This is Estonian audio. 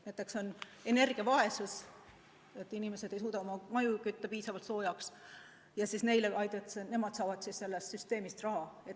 Näiteks on nn energiavaesus: inimesed ei suuda oma maju piisavalt soojaks kütta ja saavad siis sellest süsteemist raha.